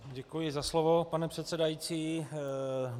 Děkuji za slovo, pane předsedající.